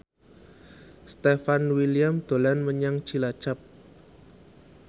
Stefan William dolan menyang Cilacap